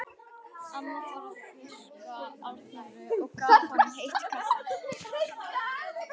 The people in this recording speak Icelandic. Amma fór að þurrka Arnóri og gaf honum heitt kaffi.